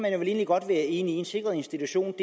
egentlig godt være enig i for en sikret institution